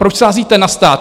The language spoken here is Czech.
Proč sázíte na stát?